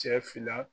Cɛ fila